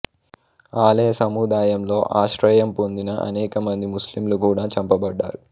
ఆలయ సముదాయంలో ఆశ్రయం పొందిన అనేక మంది ముస్లింలు కూడా చంపబడ్డారు